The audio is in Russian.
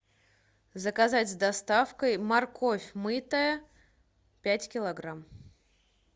заказать с доставкой морковь мытая пять килограмм